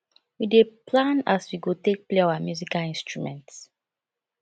we dey plan as we go take play our musical instruments